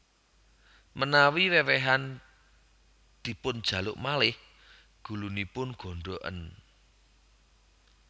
Menawi wewehan dipunjaluk malih gulunipun gondhoken